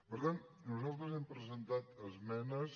per tant nosaltres hem presentat esmenes